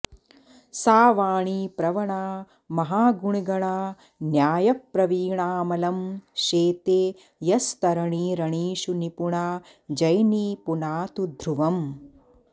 सा वाणी प्रवणा महागुणगणा न्यायप्रवीणाऽमलं शेते यस्तरणी रणीषु निपुणा जैनी पुनातु ध्रुवम्